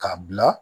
K'a bila